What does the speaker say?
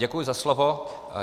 Děkuji za slovo.